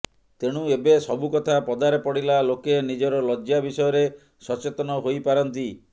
ତେଣୁ ଏବେ ସବୁ କଥା ପଦାରେ ପଡ଼ିଲା ଲୋକେ ନିଜର ଲଜ୍ଜା ବିଷୟରେ ସଚେତନ ହୋଇ ପାରନ୍ତି